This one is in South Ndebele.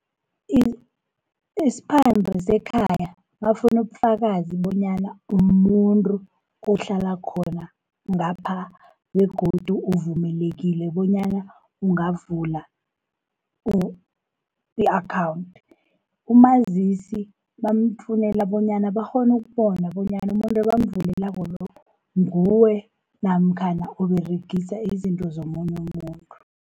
Isiphande sekhaya bafuau ubufakazi bonyana umuntu ohlala khona ngapha, begodu uvumelekile bonyana ungavula i-akhawunthi. Umazisi bamfunela bonyana bakghone ukubona bonyana umuntu ebamvulelako lo, nguwe namkhana Uberegisa izinto zomunye umuntu.